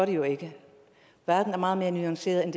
det jo ikke verden er meget mere nuanceret end